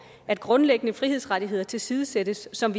at grundlæggende frihedsrettigheder tilsidesættes som